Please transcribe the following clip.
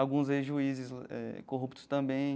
Alguns ex-juízes eh corruptos também.